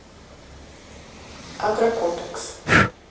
агрокомплекс